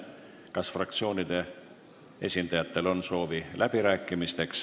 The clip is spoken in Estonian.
Kas fraktsioonide esindajatel on soovi läbi rääkida?